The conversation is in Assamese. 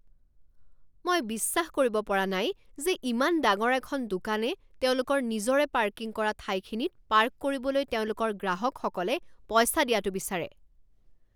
মই বিশ্বাস কৰিব পৰা নাই যে ইমান ডাঙৰ এখন দোকানে তেওঁলোকৰ নিজৰে পাৰ্কিং কৰা ঠাইখিনিত পাৰ্ক কৰিবলৈ তেওঁলোকৰ গ্ৰাহকসকলে পইচা দিয়াটো বিচাৰে।